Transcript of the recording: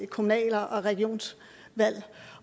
kommunal og regionsvalg